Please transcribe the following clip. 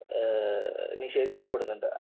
നിഷേധിക്കപ്പെടുന്നുണ്ട്.